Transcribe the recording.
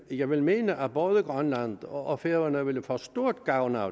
jeg vil mene at både grønland og færøerne ville få stor gavn af